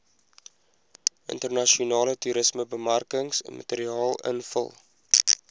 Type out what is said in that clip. internasionale toerismebemarkingsmateriaal invul